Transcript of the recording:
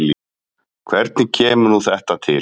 Hvernig kemur nú þetta til?